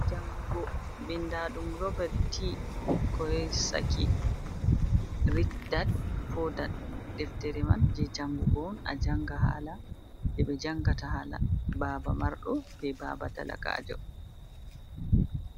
Jangugo bindaaɗum Robert T. koyesaki, ricdad puwadad. Deftere man je jangugo on a janga hala, ɗe ɓe jangata hala baba marɗo, be baba talakaajo.